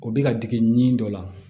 O bɛ ka dege nin dɔ la